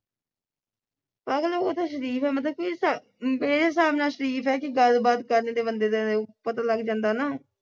ਪਾਗਲ ਉਹ ਤੇ ਸ਼ਰੀਫ ਐ ਮਤਲਬ ਕੋਈ ਮੇਰੇ ਹਿਸਾਬ ਨਾਲ ਸ਼ਰੀਫ ਐ ਕਿ ਗੱਲਬਾਤ ਕਰ ਲੈਂਦੇ ਬੰਦੇ ਪਤਾ ਲੱਗ ਜਾਂਦਾ ਨਾ